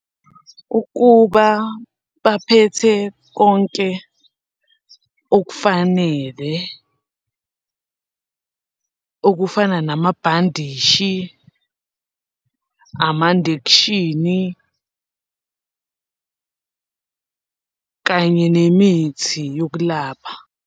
Ukuba baphethe konke okufanele okufana namabhandishi, amandekshini, kanye nemithi yokulapha.